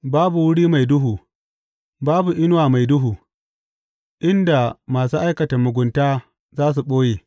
Babu wuri mai duhu, babu inuwa mai duhu, inda masu aikata mugunta za su ɓoye.